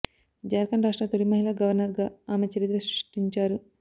జార్ఖండ్ రాష్ట్ర తొలి మహిళా గవర్నర్ గా ఆమె చరిత్ర సృష్టించారు